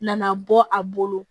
Nana bɔ a bolo